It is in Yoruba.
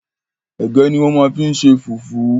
Ẹ̀gẹ́ ní wọ́n máa ń fi ṣe fùfú